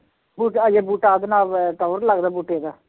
ਬੂਟਾ ਹਜੇ ਬੂਟਾ ਉਹਦੇ ਨਾਲ ਟੌਰ ਲੱਗਦਾ ਬੂਟੇ ਦਾ